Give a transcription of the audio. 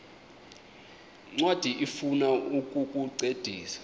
ncwadi ifuna ukukuncedisa